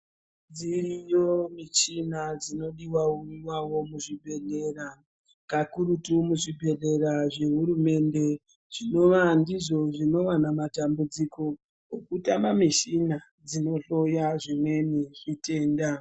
Dziriyo michina dzinodiwawo muzvibhedhlera kakurutu muzvibhedhlera zvehurumende zvinova ndizvo zvinowanza matambudziko okutama mushina dzinohloya zvimweni zvitenda.